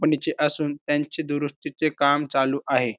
कंपनीचे असून त्यांचे दुरुस्तीचे काम चालू आहे.